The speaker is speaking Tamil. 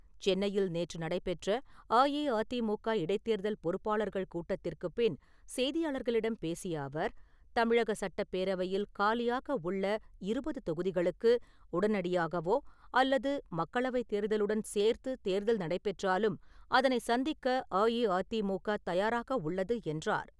சென்னையில் நேற்று நடைபெற்ற அஇஅதிமுக இடைத்தேர்தல் பொறுப்பாளர்கள் கூட்டத்திற்குப் பின் செய்தியாளர்களிடம் பேசிய அவர், தமிழக சட்டப்பேரவையில் காலியாக உள்ள இருபது தொகுதிகளுக்கு உடனடியாகவோ அல்லது மக்களவைத் தேர்தலுடன் சேர்த்து தேர்தல் நடைபெற்றாலும் அதனை சந்திக்க அஇஅதிமுக தயாராக உள்ளது என்றார்.